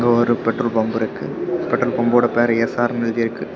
ஒரு petrol pump இருக்கு petrol pump ஓட பேர் எஸ்ஆர்னு எழுதி இருக்கு.